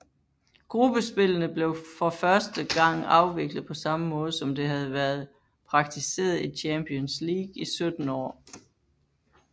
Gruppespillene blev for første gang afviklet på samme måde som det havde været praktiseret i Champions League i 17 år